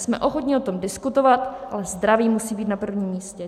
Jsme ochotni o tom diskutovat, ale zdraví musí být na prvním místě.